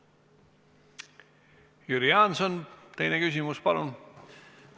Jüri Jaanson, teine küsimus, palun!